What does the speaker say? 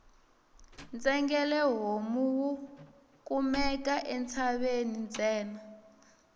ntsengele homu wu kumeka entshaveni ntsena